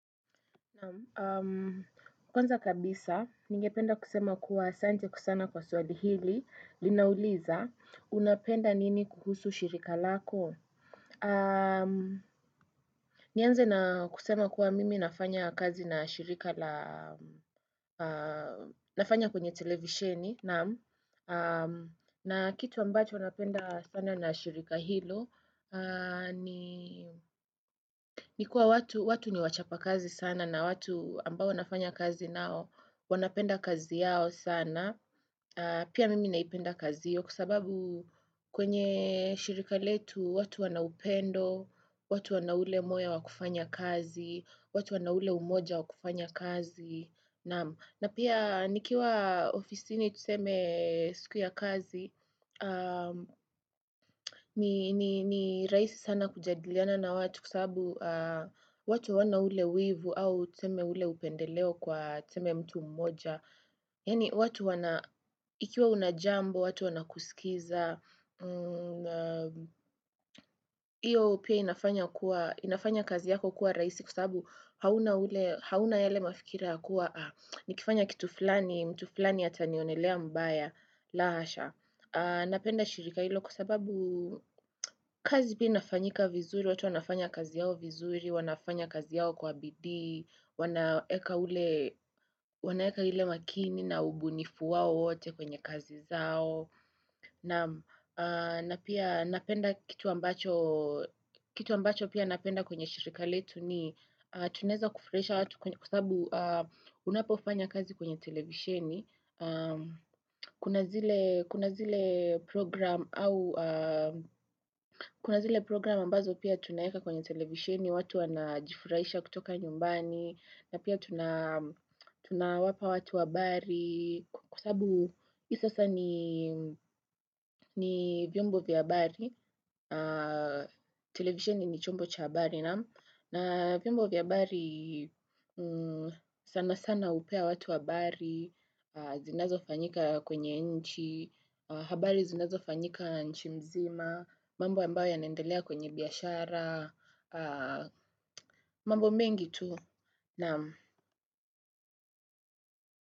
Naam, kwanza kabisa, nigependa kusema kuwa asante ku sana kwa swali hili, linauliza, unapenda nini kuhusu shirika lako? Nianze na kusema kuwa mimi nafanya kazi na shirika la, nafanya kwenye televisheni, naam, na kitu ambacho unapenda sana na shirika hilo, Nikuwa watu ni wachapa kazi sana na watu ambao wanafanya kazi nao wanapenda kazi yao sana Pia mimi naipenda kazi hiyo Kwa sababu kwenye shirika letu watu wanaupendo watu wanaule moya wa kufanya kazi watu wanaule umoja wa kufanya kazi na pia nikiwa ofisi ni tuseme siku ya kazi ni rahisi sana kujadiliana na watu kwa sababu watu hawana ule wivu au tuseme ule upendeleo kwa tuseme mtu mmoja Yaani watu wana, ikiwa unajambo, watu wanakusikiza Iyo pia inafanya kazi yako kuwa rahisi kwa sababu hauna ule, hauna yale mafikira ya kuwa Nikifanya kitu flani, mtu flani atanionelea mbaya, la hasha Napenda shirika ilo kwa sababu kazi pia inafanyika vizuri, watu wanafanya kazi yao vizuri, wanafanya kazi yao kwa bidii, wanaeka ile makini na ubunifu wao wote kwenye kazi zao na pia napenda kitu ambacho kitu ambacho pia napenda kwenye shirika letu ni tunaeza kufurahisha watu kwa sababu unapofanya kazi kwenye televisheni Kuna zile program ambazo pia tunaweka kwenye televisioni watu anajifurahisha kutoka nyumbani na pia tunawapa watu habari Kwa sababu hii sasa ni ni vyombo vya habari televisioni ni chombo cha habari naam na vyombo vya habari sana sana hupea watu habari zinazofanyika kwenye nchi habari zinazofanyika nchi mzima mambo ambayo yanendelea kwenye biashara mambo mengi tu naam.